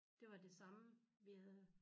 Det var det samme vi havde